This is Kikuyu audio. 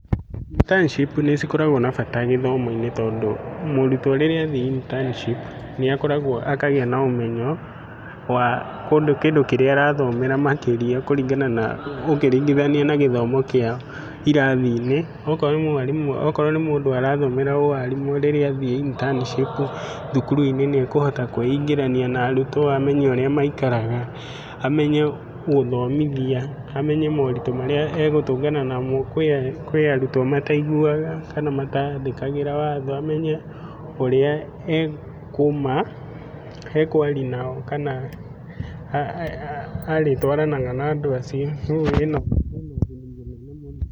Internship nĩcikoragwo na bata gĩthomo-inĩ tondũ mũrutwo rĩrĩa athiĩ internship nĩakoragwo akagĩa na ũmenyo wa kĩndũ kĩrĩa arathomera makĩria kũringana ũkĩringithania na gĩthomo kĩa irathi-inĩ. Okorwo nĩ mwarimũ, okorwo nĩ mũndũ arathomera ũarimũ rĩrĩa athiĩ internship thukuru-inĩ nĩakũhota kwĩingĩrania na arutwo amenye ũrĩa maikaraga, amenye gũthomithia, amenye moritũ marĩa agũtũngana namo .Kwĩ arutwo mataiguaga kana matathĩkagĩra watho amenye ũrĩa ekũma ekwaria nao kana arĩtwaranaga na andũ ũcio. ũguo ĩna ũguni mũnene mũno.